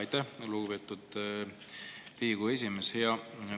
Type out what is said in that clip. Aitäh, lugupeetud Riigikogu esimees!